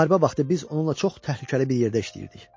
Müharibə vaxtı biz onunla çox təhlükəli bir yerdə işləyirdik.